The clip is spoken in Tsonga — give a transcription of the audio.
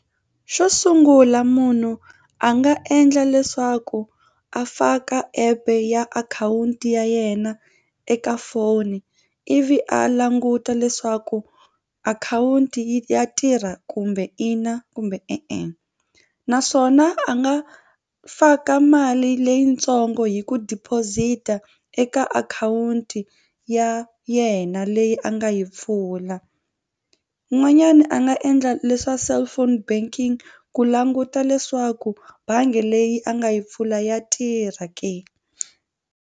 Xo sungula munhu a nga endla leswaku a faka app ya akhawunti ya yena eka foni ivi a languta leswaku akhawunti yi ya tirha kumbe ina kumbe e-e naswona a nga faka mali leyitsongo hi ku deposit-a eka akhawunti ya yena leyi a nga yi pfula n'wanyani a nga endla leswa cellphone banking ku languta leswaku bangi leyi a nga yi pfula ya tirha ke.